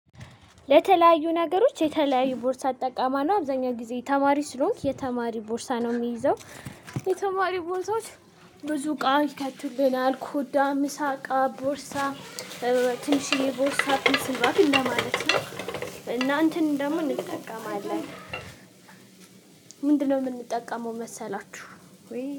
ለተለያዩ ነገሮች የተለያዩ ቦርሳ እጠቀማለው አብዛኛው ጊዜ ተማሪ ስለሆንክ የተማሪ ቦርሳ ነው የምይዘው። የተማሪ ቦርሳዎች ብዙ እቃ ይከትልናል ኮዳ ምሳቃ ቦርሳ። ትንሽየ ቦርሳ ፔንስል ባግ እንደማለት ነው። እና እንትን ደግሞ እንጠቀማለን። ምንድነው የምንጠቀመው መሰላችሁ?